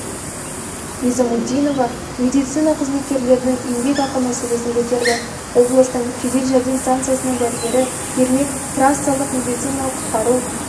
низамутдинова медицина қызметкерлерінің еңбек ақы мәселесін көтерді облыстың жедел жәрдем станциясының дәрігері ермек трассалық медициналық-құтқару